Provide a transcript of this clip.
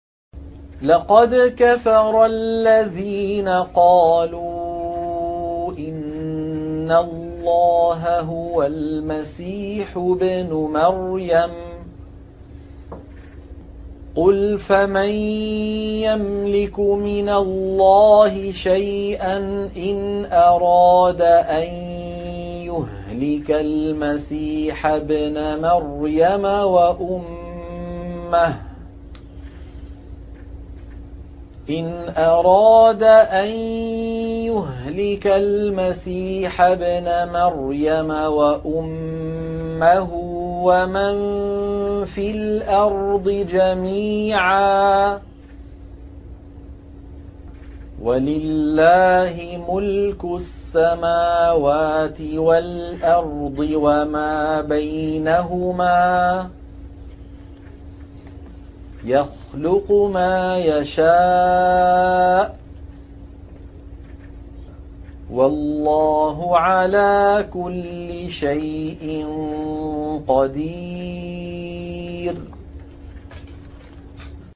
لَّقَدْ كَفَرَ الَّذِينَ قَالُوا إِنَّ اللَّهَ هُوَ الْمَسِيحُ ابْنُ مَرْيَمَ ۚ قُلْ فَمَن يَمْلِكُ مِنَ اللَّهِ شَيْئًا إِنْ أَرَادَ أَن يُهْلِكَ الْمَسِيحَ ابْنَ مَرْيَمَ وَأُمَّهُ وَمَن فِي الْأَرْضِ جَمِيعًا ۗ وَلِلَّهِ مُلْكُ السَّمَاوَاتِ وَالْأَرْضِ وَمَا بَيْنَهُمَا ۚ يَخْلُقُ مَا يَشَاءُ ۚ وَاللَّهُ عَلَىٰ كُلِّ شَيْءٍ قَدِيرٌ